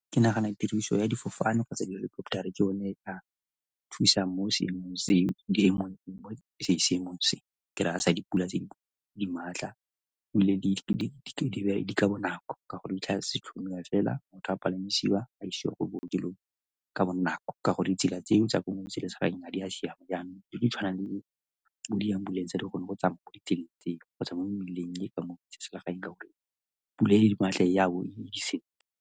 Ke nagana tiriso ya difofane kgotsa di-helicopter-ra ke yone e ka thusang mo seemong se ke raya sa dipula tse di maatla ebile di ka bonako ka gore di tla fela motho a palamisiwa a isiwa ko bookelong ka bonako ka gore ditsela tseo tsa ko metseselegaeng a di a siama, yanong tse di tshwanang le bo di-ambulance le gone go tsamaya mo di tsela tseo kgotsa mo mmileng mme ke ka moo ka gore pula e le di maatla ya bo .